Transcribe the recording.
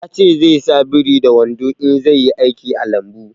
Ya ce zai sa biri da wando in zai yi aiki a lambu